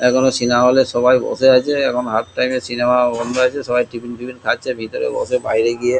এখনো cinema hall এ সবাই বসে আছে এখন হাফ টাইম এ সিনেমা বন্ধ আছে সবাই টিফিন টিফিন খাচ্ছে ভেতরে বসে বাইরে গিয়ে।